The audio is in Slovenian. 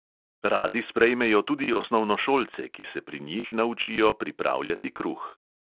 Radi sprejmejo tudi osnovnošolce, ki se pri njih naučijo pripravljati kruh.